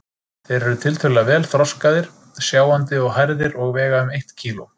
Þeir eru tiltölulega vel þroskaðir, sjáandi og hærðir og vega um eitt kíló.